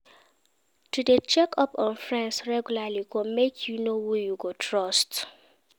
To de check up on friends regularly go make you know who you go trust